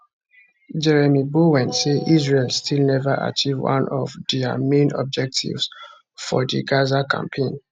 jeremy bowen say israel still neva achieve one of dia main objectives for di gaza campaign